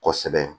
Kosɛbɛ